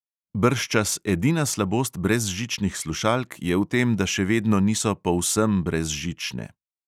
Bržčas edina slabost brezžičnih slušalk je v tem, da še vedno niso povsem brezžične.